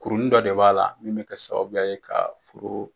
Kurunin dɔ de b'a la min bɛ kɛ sababuya ye ka furu.